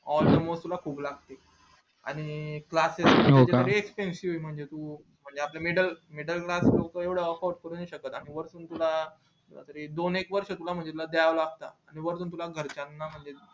तुला खूप लागते आणि म्हणजे आपले middle middle class room माहित ये का म्हणजे तुला दोन एक वर्ष तुला दायला लागतात